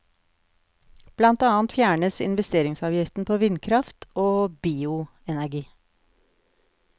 Blant annet fjernes investeringsavgiften på vindkraft og bioenergi.